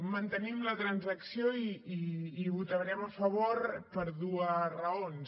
mantenim la transacció i hi votarem a favor per dues raons